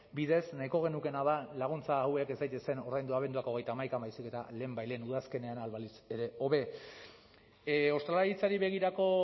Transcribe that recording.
bidez nahiko genukeena da laguntza hauek ez daitezen ordaindu abenduak hogeita hamaikan baizik eta lehenbailehen udazkenean ahal balitz ere hobe ostalaritzari begirako